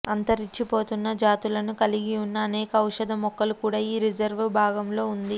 అంతరించిపోతున్న జాతులను కలిగి ఉన్న అనేక ఔషధ మొక్కలు కూడా ఈ రిజర్వ్ భాగంలో ఉంది